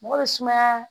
Mɔgɔ bɛ sumaya